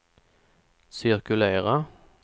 cirkulera